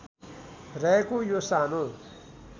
रहेको यो सानो